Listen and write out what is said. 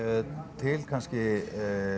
til kannski